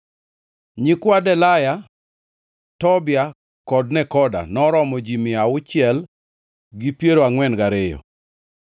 Nyikwa Delaya, Tobia kod Nekoda, noromo ji mia auchiel gi piero angʼwen gariyo (642).